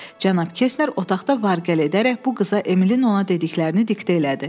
Cənab Kestner otaqda var-gəl edərək bu qıza Emilin ona dediklərini diktə elədi.